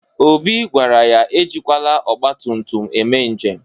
Obi gwara ya e jikwala ọgbatụmtụm eme njem.